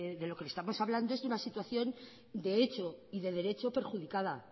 de lo que le estamos hablando es de una situación de hecho y de derecho perjudicada